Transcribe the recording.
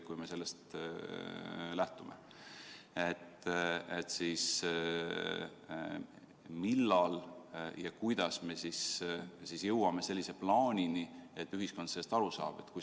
Kui me sellest lähtume, siis millal ja kuidas me jõuame sellise plaanini, et ühiskond sellest aru saab?